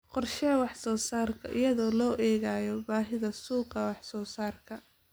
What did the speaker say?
Qorshee wax-soo-saarka iyadoo loo eegayo baahida suuqa wax-soo-saarka.